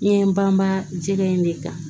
Ɲɛ banba jɛgɛ in de kan